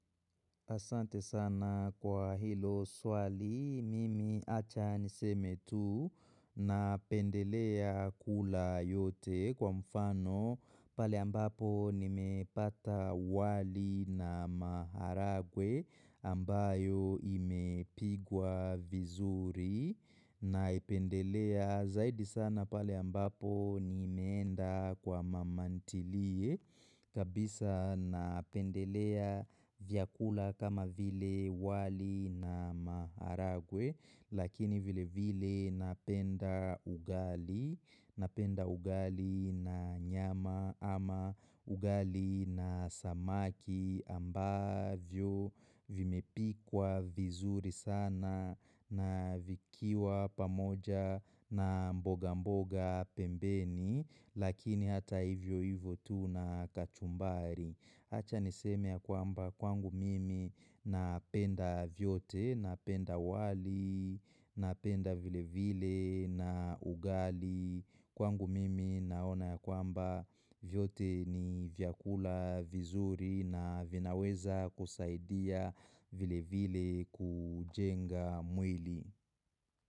Asante sana kwa hilo swali, mimi acha niseme tu napendelea kula yote kwa mfano pale ambapo nimepata wali na maharagwe ambayo imepikwa vizuri. Na ipendelea zaidi sana pale ambapo nimeenda kwa mamantilie kabisa napendelea vyakula kama vile wali na maharagwe Lakini vile vile napenda ugali Napenda ugali na nyama ama ugali na samaki ambavyo vimepikwa vizuri sana na vikiwa pamoja na mboga mboga pembeni, lakini hata hivyo hivyo tu na kachumbari. Hacha niseme ya kwamba kwangu mimi napenda vyote, napenda wali, napenda vile vile na ugali. Kwangu mimi naona kwamba vyote ni vyakula vizuri na vinaweza kusaidia vile vile kujenga mwili.